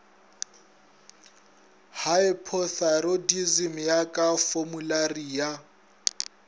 hypothyroidism ya ka formulari ya